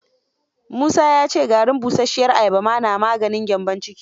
Musa ya ce garin busasshiyar ayaba ma na maganin gyambon ciki.